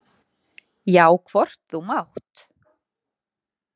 Já, hvort þú mátt!